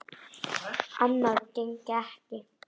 Annað gengi ekki.